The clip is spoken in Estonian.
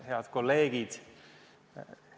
Head kolleegid!